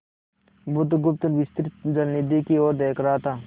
बुधगुप्त विस्तृत जलनिधि की ओर देख रहा था